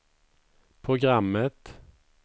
programmet